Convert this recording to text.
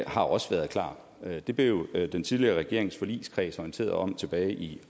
har også været klart det blev den tidligere regerings forligskreds orienteret om tilbage i